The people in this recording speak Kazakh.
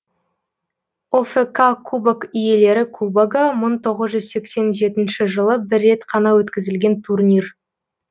офк кубок иелері кубогы мың тоғыз жүз сексен жетінші жылы бір рет қана өткізілген турнир